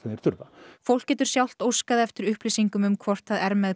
þurfa fólk getur sjálft óskað eftir upplýsingum um hvort það er með